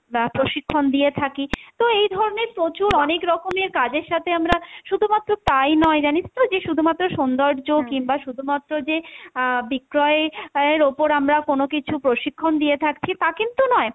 বা প্রশিক্ষণ দিয়ে থাকি। তো এইধরনের প্রচুর অনেকরকমের কাজের সাথে আমরা শুধুমাত্র তাই নয় জানিস তো, যে শুধুমাত্র সৌন্দর্য কিংবা শুধুমাত্র যে আহ বিক্রয় এর ওপর আমরা কোনো কিছু প্রশিক্ষণ দিয়ে থাকছি তা কিন্তু নয়,